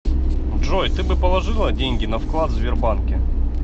джой ты бы положила деньги на вклад в сбербанке